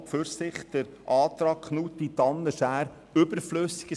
Deshalb ist der Antrag der Grossräte Knutti, Tanner und Schär an und für sich überflüssig.